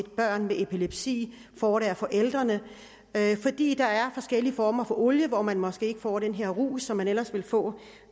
børn med epilepsi får det af forældrene fordi der er forskellige former for olie hvor man måske ikke får den her rus som man ellers ville få